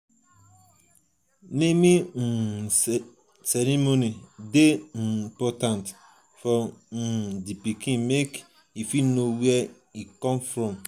naming um ceremony de um important for um di pikin make e fit know where e from come